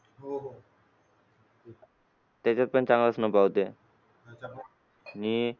त्याच्यात पण चांगलाच नफा होते